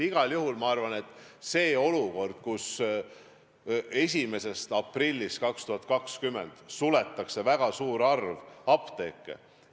Igal juhul ma arvan, et tekiks olukord, kus 1. aprillist 2020 suletaks väga suur arv apteeke.